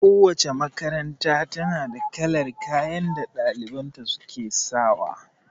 Kowace makaranta ta na da kalar kayan da ɗaliban ta su ke sawa